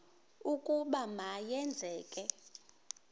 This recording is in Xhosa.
ukuba ma yenzeke